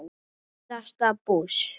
síðast bús.